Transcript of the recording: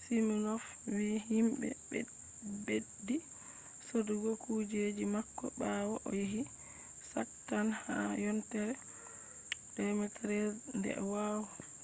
siminof wi himɓe ɓeddi sodugo kujeji mako ɓawo o yehi shak tank ha yontere 2013 nde